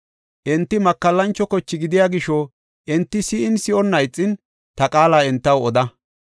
Enti makallancho koche gidiya gisho enti si7in, si7onna ixin ta qaala entaw oda.